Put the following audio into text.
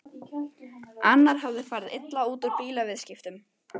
Annar hafði farið illa út úr bílaviðskiptum.